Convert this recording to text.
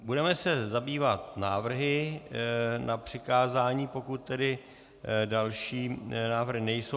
Budeme se zabývat návrhy na přikázání, pokud tedy další návrhy nejsou.